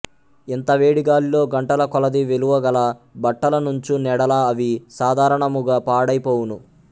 ఇంత వేడి గాలిలో గంటల కొలది విలువ గల బట్టల నుంచు నెడల అవి సాధారణముగ పాడై పోవును